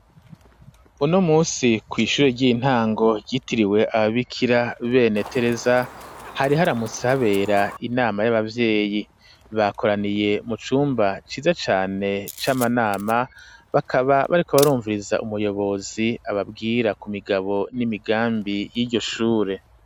Uno munsi, kw'ishure ry'intango ryitiriwe ababikira bene Tereza, hari haramutse habera inama y'abavyeyi, bakoraniye mu cumba ciza cane c'amanama, bakaba bariko barumviriza umuyobozi ababwira ku migabo n'imigambi y'iryo shure.